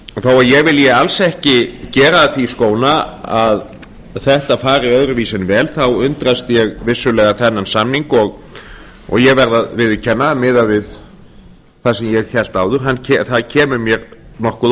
þó að ég vilji alls ekki gera því skóna að þetta fari öðruvísi vel þá undrast ég vissulega þennan samning og ég verð að viðurkenna að miðað við það sem ég hélt áður það kemur mér nokkuð á